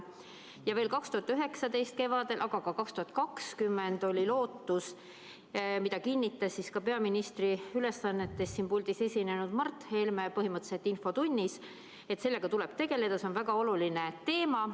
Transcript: Ja veel 2019 kevadel, aga ka 2020, oli lootus, mida kinnitas peaministri ülesannetes siin puldis infotunnis esinenud Mart Helme, et sellega tuleb tegeleda, see on väga oluline teema.